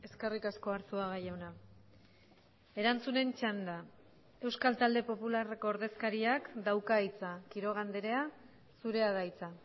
eskerrik asko arzuaga jauna erantzunen txanda euskal talde popularreko ordezkariak dauka hitza quiroga andrea zurea da hitza